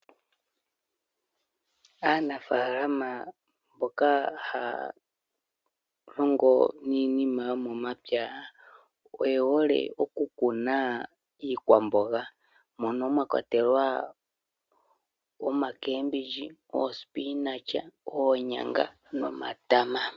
Aanafaalama mboka haya lingo niinima yomomapya oywhole okukuna iikwamboga mono mwakwatelwa oocabage, oospinach, oonyanga nomatama.